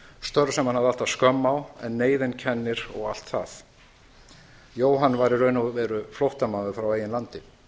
störf sem hann hafði alltaf skömm á en neyðin kennir og allt það jóhann var í raun og veru flóttamaður frá eigin landi